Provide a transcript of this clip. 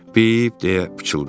Bip deyə pıçıldadı.